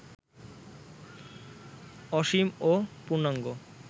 অসীম ও পূর্ণাঙ্গ